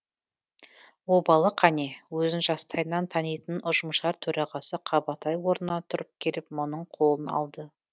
обалы қане өзін жастайынан танитын ұжымшар төрағасы қабатай орнынан тұрып келіп мұның қолын алды